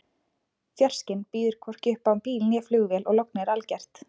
Fjarskinn býður hvorki upp á bíl né flugvél og lognið er algert.